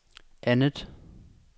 andet